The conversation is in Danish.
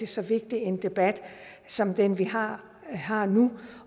så vigtig en debat som den vi har har nu